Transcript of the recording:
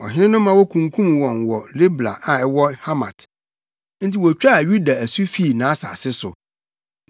Ɔhene no ma wokunkum wɔn wɔ Ribla a ɛwɔ Hamat. Enti wotwaa Yuda asu fii nʼasase so.